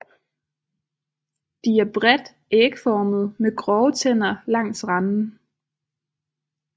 De er bredt ægformede med grove tænder langs randen